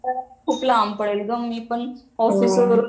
खूप लांब पडेल ग मी पण ऑफीसवरून